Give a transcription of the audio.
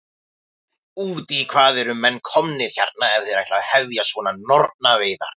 Út í hvað eru menn komnir hérna ef þeir ætla að hefja svona nornaveiðar?